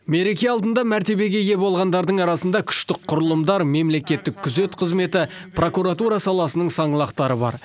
мереке алдында мәртебеге ие болғандардың арасында күштік құрылымдар мемлекеттік күзет қызметі прокуратура саласының саңлақтары бар